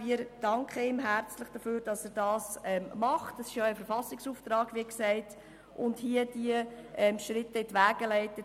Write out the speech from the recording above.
Wir danken ihm herzlich dafür, dass er dies tut und diese Schritte hier in die Wege leitet.